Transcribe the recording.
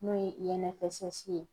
N'o ye INFSS ye.